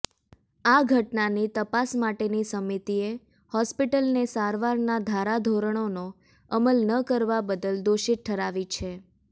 આ ઘટનાની તપાસ માટેની સમિતિએ હોસ્પિટલને સારવારના ધારાધોરણોનો અમલ ન કરવા બદલ દોષિત ઠરાવી છે